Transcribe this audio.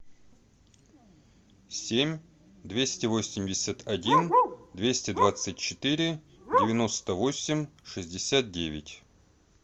семь двести восемьдесят один двести двадцать четыре девяносто восемь шестьдесят девять